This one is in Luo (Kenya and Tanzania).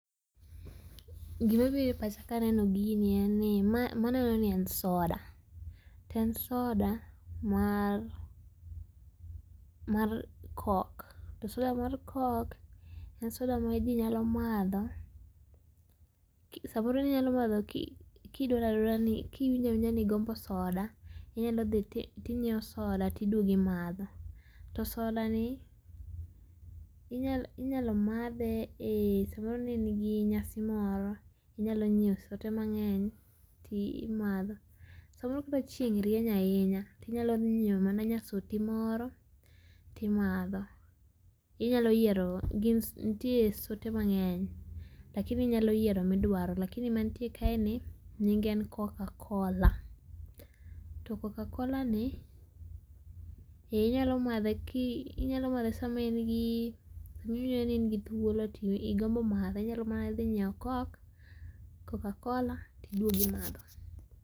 Gima biro e pacha kaneno gini en ni ma aneno ni en soda to en soda mar mar Coke to soda mar Coke en soda ma jii nyalo madho samoro inyalo madho kidwaro adwara ni kiwinjo awinjani igombo soda inyalo dhi tinyiew soda tiduogo imadho to soda ni inyalo inyalo madhe e samoro ne in gi nyasi moro inyalo nyiew sote mangeny to imadho, samoro ka chieng rieny ahinya tinyalo nyiew mana nya soti moro to imadho. Inyalo yiero gin, nitie sote mangeny, lakini inyalo yiero midwaro lakini man tie kae ni nyinge en Cocacola to Cocacola ni eeh inyalo madhe ki inyalo madhe sama in gi iwinjo ni in gi thuolo tigombo madhe nyalo mana dhi nyiew Coke, Cocacola tiduogo imadho